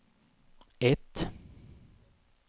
ett